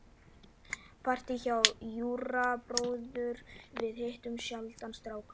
Partí hjá Júra bróður- við hittum sjaldan stráka.